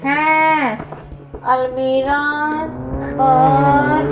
है अलमीरा पर--